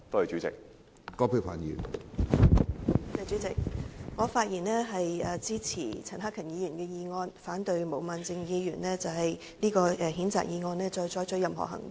主席，我發言支持陳克勤議員的議案，反對就毛孟靜議員的譴責議案再採取任何行動。